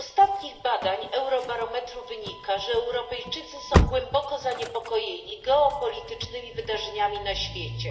Z ostatnich badań Eurobarometr wynika, że Europejczycy są głęboko zaniepokojeni geopolitycznymi wydarzeniami na świecie.